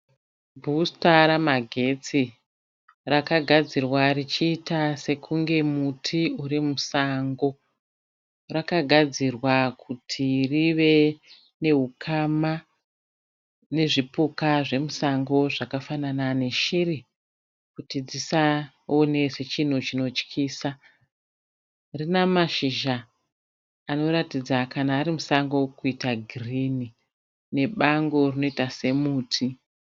Bhusita ramagetsi rakagadzirwa richiita sekunge muti uri musango, rakagadzirwa kuti rive nehukama nezvipuka zvemusango zvakafanana neshiri kuti dzisaone sechinhu chinotyisa rina mashizha anoratidza kana ari musango kuita girini nebango rinoita semuti.